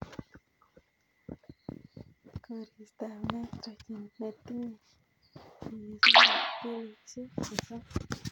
koristab nitrogen netinye nyikisindab kilosiek sosom.